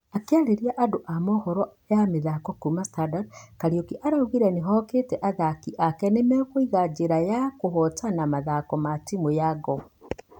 Akĩarĩria andũ a mũhoro ya mĩthako kuuma standard , kariuki araugire nĩihokĩte athaki ake nĩ magũiga njira yao ya kũhotana mathaka na timũ ya gor.